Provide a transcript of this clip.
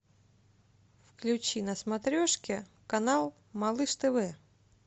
включи на смотрешке канал малыш тв